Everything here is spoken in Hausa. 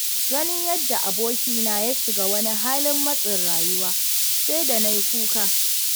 Ganin yadda abokina ya shiga wani halin matsin rayuwa, sai da na yi kuka.